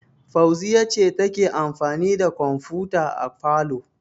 Fauziyya ce take amfani da kwamfuta a falo.